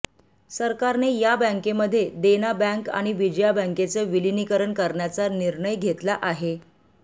सरकारने या बँकेमध्ये देना बँक आणि विजया बँकेचं विलिनीकरण करण्याचा निर्णय घेतला आहे